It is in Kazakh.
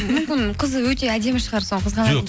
мүмкін қызы өте әдемі шығар соны